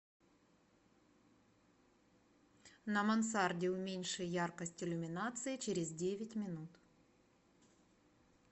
на мансарде уменьши яркость иллюминации через девять минут